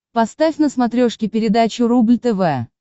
поставь на смотрешке передачу рубль тв